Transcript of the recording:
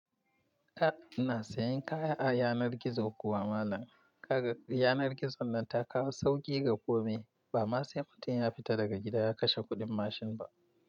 A'a ina sayan kaya a yanar gizo kuwa malam. Yanar gizon nan ta kawo sauƙi ga komai. Ba ma sai mutum ya fita daga gida ya kashe kuɗin mashin ba.